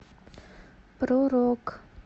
про рок